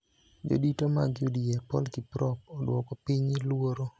Jodito mag UDA Paul Kiprop odwoko piny luoro